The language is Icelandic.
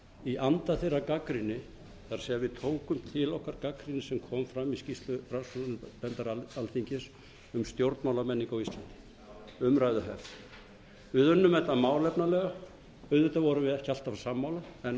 í anda þeirrar gagnrýni það er við tókum til okkar gagnrýna sem kom fram í skýrslu rannsóknarnefndar alþingis um stjórnmálamenningu á íslandi umræðuhefð við unnum þetta málefnalega auðvitað vorum við ekki alltaf sammála en